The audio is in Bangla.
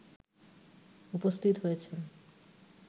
উপস্থিত হয়েছে